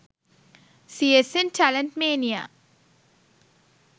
csn talent mania